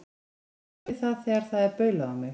Ég kann vel við það þegar það er baulað á mig.